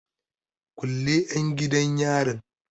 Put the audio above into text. Kulle 'yan gidan yarin!